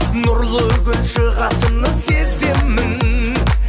нұрлы күн шығатынын сеземін